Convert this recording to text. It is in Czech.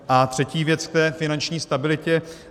A třetí věc k té finanční stabilitě.